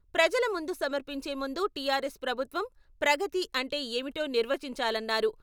ప్రజల ముందు సమర్పించేముందు టీఆర్ఎస్ ప్రభుత్వం ప్రగతి అంటే ఏమిటో నిర్వచించాలన్నారు.